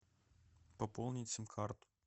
пополнить сим карту